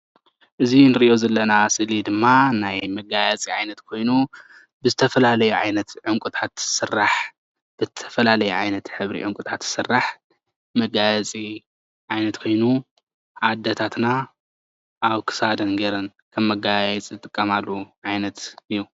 እዚ እንሪኦ ዘለና ስእሊ ድማ ናይ መጋየፂ ዓይነት ኮይኑ ብዝተፈላለዩ ዓይነት ዕንቁታት ዝስራሕ ብዝተፈላለየ ዓይነት ሕብርታት ዝስራሕ መጋየፂ ዓይነት ኮይኑ ኣዴታተና ኣብ ክሳደን ገይረን ከም መጋየፂ ዝጥቀማሉ ዓይነት እዩ፡፡